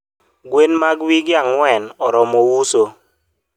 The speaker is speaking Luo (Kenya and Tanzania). gwen mag wige angwen oromo uso